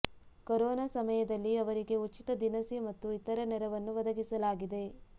corona ಸಮಯದಲ್ಲಿ ಅವರಿಗೆ ಉಚಿತ ದಿನಸಿ ಮತ್ತು ಇತರ ನೆರವನ್ನು ಒದಗಿಸಲಾಗಿದೆ